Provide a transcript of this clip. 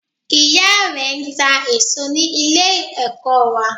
Ìyá rẹ n ta èsó ní Ilé ẹ̀kọ́ wa